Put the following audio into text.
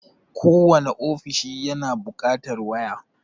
Kowane ofishi yana buƙatar waya.